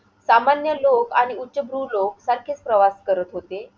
सामान्य लोकं आणि उच्चभ्रू लोक सारखेच प्रवास करत होते.